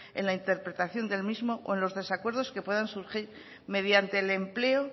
en la interpretación del mismo o en los desacuerdos que puedan surgir mediante el empleo